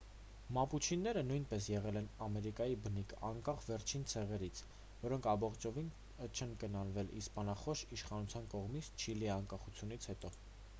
մապուչիները նույնպես եղել են ամերիկայի բնիկ անկախ վերջին ցեղերից որոնք ամբողջովին չեն կլանվել իսպանախոս իշխանության կողմից չիլիի անկախությունից հետո